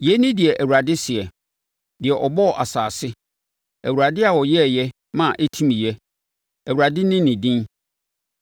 “Yei ne deɛ Awurade seɛ, deɛ ɔbɔɔ asase, Awurade a ɔyɛeɛ ma ɛtimiiɛ, Awurade ne ne din: